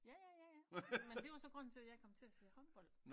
Ja ja ja ja men det var så grunden til at jeg kom til at se håndbold